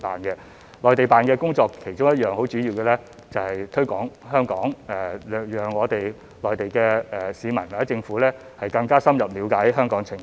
駐內地辦的其中一項主要工作就是推廣香港，讓內地市民或政府更深入了解香港的情況。